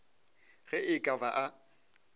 ge e ka ba a